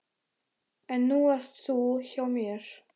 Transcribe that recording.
En nú ert þú hjá mér.